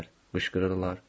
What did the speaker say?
Mışqırırlar.